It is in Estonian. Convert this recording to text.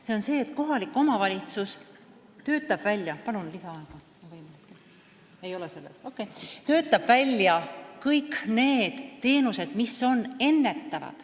See on see, et kohalik omavalitsus ...... töötab välja kõik ennetavad teenused.